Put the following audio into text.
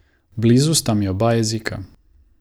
Blizu sta mi oba jezika.